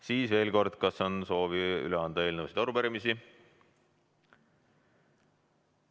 Siis veel kord: kas on soovi üle anda eelnõusid ja arupärimisi?